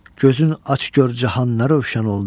Gözün aç gör cahanlar rövşən oldu.